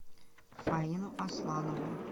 фаину асланову